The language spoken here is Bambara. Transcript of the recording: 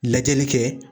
Lajɛli kɛ